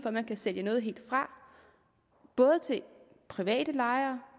at man kan sælge noget helt fra både til private lejere